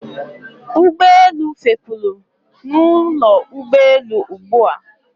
Ụgbọelu fepuru na ụlọ ụgbọelu ugbua